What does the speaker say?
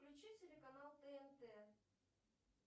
включи телеканал тнт